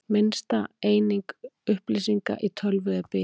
Minnsta eining upplýsinga í tölvu er biti.